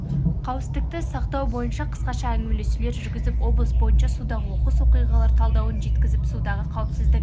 қауіпсіздікті сақтау бойынша қысқаша әңгімелесулер жүргізіп облыс бойынша судағы оқыс оқиғалар талдауын жеткізіп судағы қауіпсіздік